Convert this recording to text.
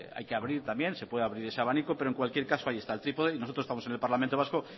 hay que abrir también se puede abrir ese abanico pero en cualquier caso ahí está el trípode y nosotros estamosen el parlamento vasco